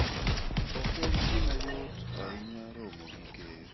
Ok en gima yot ahinya romo gi ker.